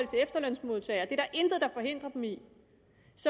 efterlønsmodtagere der intet der forhindrer dem i det